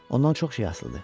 Ondan çox şey asılıdır.